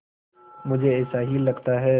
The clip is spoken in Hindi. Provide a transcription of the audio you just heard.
मुझे ऐसा ही लगता है